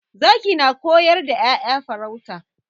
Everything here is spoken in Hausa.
Zaki na koyar da 'ya'ya farauta.